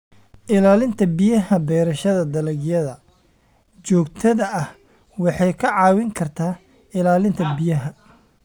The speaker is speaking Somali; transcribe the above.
Ilaalinta Biyaha Beerashada dalagyada joogtada ah waxay kaa caawin kartaa ilaalinta biyaha.